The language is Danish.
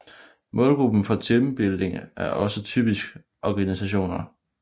Målgruppen for teambuilding er også typisk organisationer